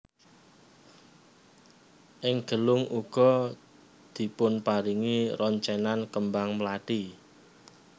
Ing gelung uga dipunparingi roncenan kembang mlathi